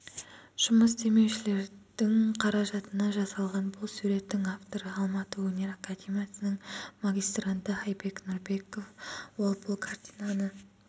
жұмыс демеушілердің қаражатына жасалған бұл суреттің авторы алматы өнер академиясының магистранты айбек нұрбеков ол бұл картинаны